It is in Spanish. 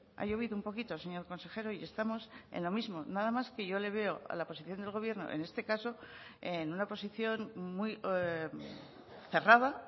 ha llovido un poquito señor consejero y estamos en lo mismo nada más que yo le veo a la posición del gobierno en este caso en una posición muy cerrada